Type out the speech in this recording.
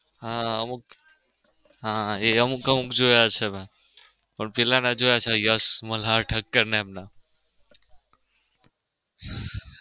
હા અમુક હા એ અમુક અમુક જોયા છે. મેં પેલા ના જોયા છે. યસ મલ્હાર ઠક્કર ને એમ ના.